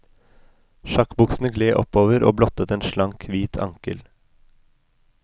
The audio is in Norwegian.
Sjakkbuksene gled oppover og blottet en slank, hvit ankel.